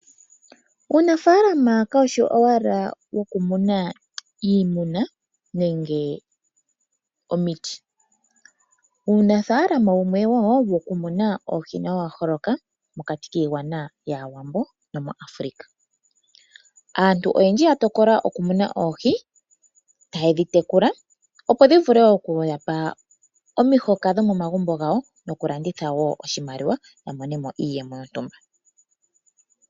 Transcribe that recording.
Uunafaalama kaushi owala wokumuna iimuna, nenge omiti. Uunafaalama wumwe wo wokumuna oohi nawo owa holoka mokati kiigwana yAawambo, nomuAfrica. Aantu oyendji oya tokola okumuna oohi taye dhi tekula, opo dhi vule okuyapa omihoka dhomomagumbo gawo, nokulanditha wo ya monemo iiyemo yontumba.